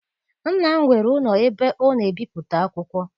Nna m nwere ụlọ ebe ọ na ebipụta akwụkwọ.